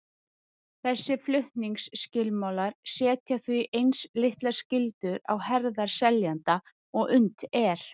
Þessir flutningsskilmálar setja því eins litlar skyldur á herðar seljanda og unnt er.